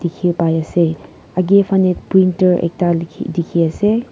dikhi pai ase aage fanhe printer ekta likhi dikhi ase.